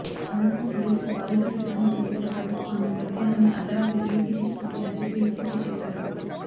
అనంతరం పోలీసులు బాధితురాలి కుటుంబసభ్యులతో పాటు ఆమె మృతదేహాన్ని అర్ధరాత్రి యూపీ తీసుకువచ్చి అంత్యక్రియలు పూర్తిచేశారు